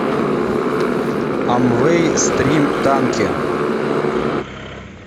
амвей стрим танки